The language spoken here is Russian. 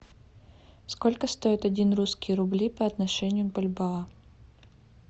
сколько стоит один русский рубли по отношению к бальбоа